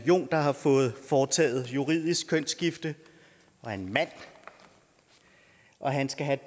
jon der har fået foretaget juridisk kønsskifte og er en mand og han skal have